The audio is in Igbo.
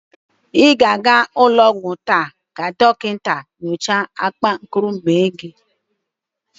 Ị ga-aga ụlọ ọgwọ taa ka dọkịnta nyocha akpankuru ume gi?